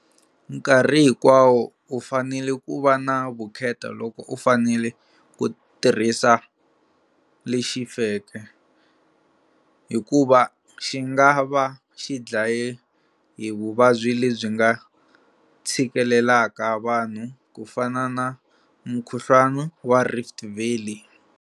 Nkarhi hinkwawo u fanele ku va na vukheta loko u fanele ku tirhisa lexi feke, hikuva xi nga va xi dlaye hi vuvabyi lebyi nga tshikilelaka vanhu, ku fana na Mukhuhluwana wa Rift Valley.